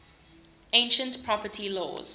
ancient property laws